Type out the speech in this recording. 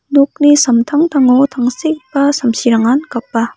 nokni samtangtango tangsekgipa samsirangan gapa.